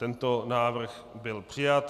Tento návrh byl přijat.